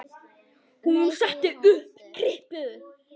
Hún setti upp kryppu.